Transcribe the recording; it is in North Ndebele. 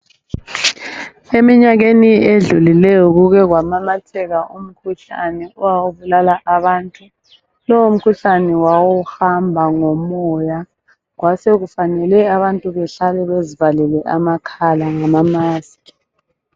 Eminyakeni edlulileyo kuke kwamemetheka umkhuhlane owawubulala abantu. Lowumkhuhlane wawuhamba ngomoya, kwasekufanele abantu behlale bezivalile amakhala ngama maskhi.